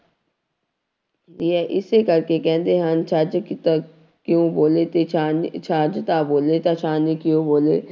ਦੀ ਹੈ ਇਸੇ ਕਰਕੇ ਕਹਿੰਦੇ ਹਨ ਛੱਜ ਤਾਂ ਕਿਉਂ ਬੋਲੇ ਤੇ ਛਾਨਣੀ, ਛੱਜ ਤਾਂ ਬੋਲੇ ਤਾਂ ਛਾਨਣੀ ਕਿਉਂ ਬੋਲੇ।